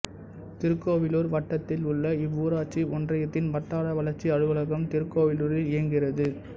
திருக்கோவிலூர் வட்டத்தில் உள்ள இவ்வூராட்சி ஒன்றியத்தின் வட்டார வளர்ச்சி அலுவலகம் திருக்கோவிலூரில் இயங்குகிறது